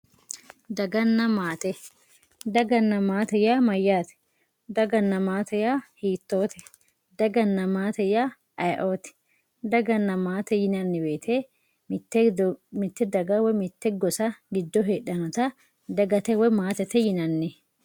Daganna matte dagana matte ya mayate dagana matte ya hitote dagana matte ya ayiotti dagana matte yinanni woyite mitte daga woy mitte gossa gido hedhanita dagate woy matete yinanni